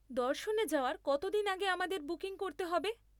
দর্শনে যাওয়ার কতদিন আগে আমাদের বুকিং করতে হবে?